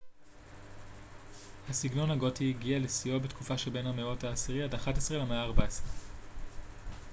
הסגנון הגותי הגיע לשיאו בתקופה שבין המאות ה-10עד ה-11 למאה ה-14